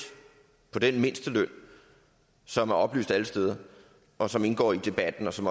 på den mindsteløn som er oplyst alle steder og som indgår i debatten og som